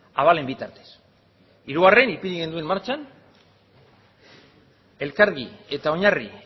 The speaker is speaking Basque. abalen bitartez hirugarren ipini genuen martxan elkargi eta oinarri